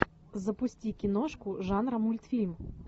запусти киношку жанра мультфильм